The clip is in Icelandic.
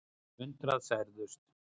Yfir hundrað særðust.